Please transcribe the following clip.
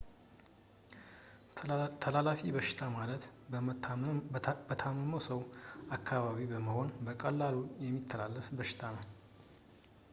ተላላፊ በሽታ ማለት በታመመ ሰው አካባቢ በመሆን በቀላሉ የሚተላለፍ በሽታ ነው